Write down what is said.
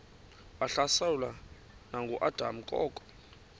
wahlaselwa nanguadam kok